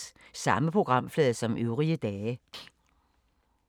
Samme programflade som øvrige dage